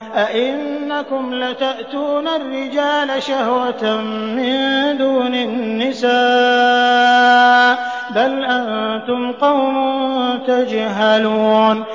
أَئِنَّكُمْ لَتَأْتُونَ الرِّجَالَ شَهْوَةً مِّن دُونِ النِّسَاءِ ۚ بَلْ أَنتُمْ قَوْمٌ تَجْهَلُونَ